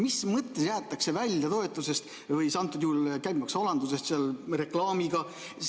Mis mõttes jäetakse toetusest või käibemaksualandusest ilma reklaamiga?